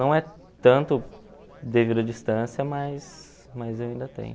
Não é tanto devido à distância, mas mas eu ainda tenho.